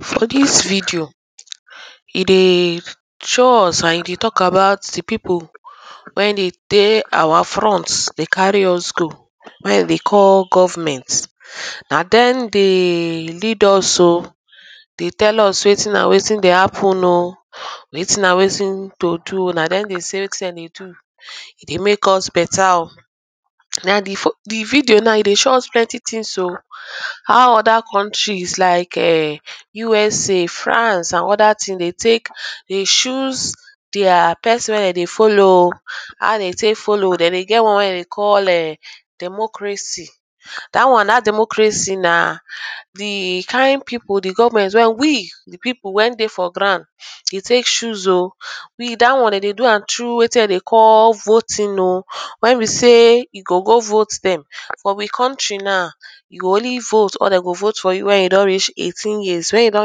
for this video, e dey show us an e dey talk about the people wen dem dey our front dey carry us go wey dem dey call goverment na dem dey lead us oh dey tell us wetin an wetin dey happen oh wetin an wetin to do, na dem dey say wetin dem dey do e dey make us beta oh na for the video now e dey show us plenty things o how other contries like um USA, France an other things dey take dey choose their person wey dem dey follow oh, dem dey get one wey erm dem dey call eh democracy that one that democracy na the kind pipul the government wey we the people wen dey for ground dey take choose oh we that one dem dey do am through wetin dem dey call voting oh wey be sey you go go vote dem for we contry naw we go only vote or dem go vote for you when you don reach eighteen years when you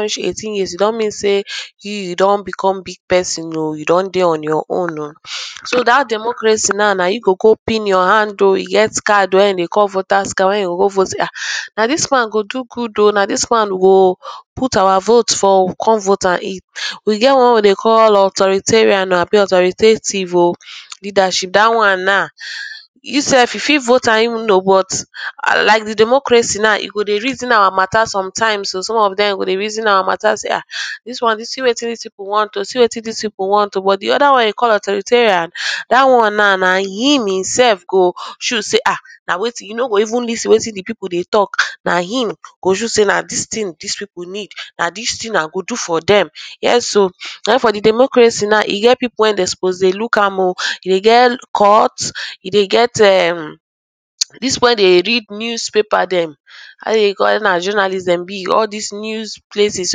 reach eighteen years e don mean sey you you don become big person oh you don dey on your own so dat democracy now, na you gp go pin your hand oh, e get card wen dem dey call voters card wey you go go vote ah na this one go do good oh na this one we go put our vote for oh, we go come vote am in we get one wey we dey call authoritarian abi authoritative oh leadership, that one now you sef you fit vote am in oh but like the democracy now, e go dey reason our mata sometimes oh, some of them go dey reason our mata se ah see wetin we want oh see wetin this people want oh, but the other one wey dem dey call authoritarian that one now, na him himself do choose sey ah, na wetin e no go even lis ten wetin the people dey talk, na him go choose sey na this thing this people need, na this thing i go do for them. yes oh. then for the democracy now, e get people wen dem suppose dey look am oh, e dey get court, e dey get erm, um this people wey dey read newsapaper dem how dem dey call am, if na journalist dem be, all this news places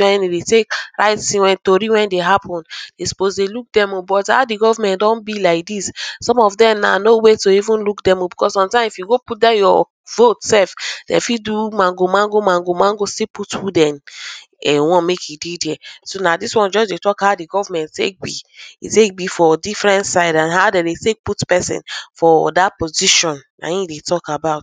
wen dem dey take write tori wey dey happen dem suppose dey look them o, but how dey goverment don be like this some of them now, no when to even look them oh, because sometimes if you go put dem your vote sef dem fit do mago mago mago mago still put who dem want make e dey there so na this one just dey talk how the goverment take be e sey e be for diffrent side an how dem dey take put person for that position na him dey talk about